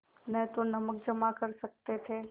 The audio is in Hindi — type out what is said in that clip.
न तो नमक जमा कर सकते थे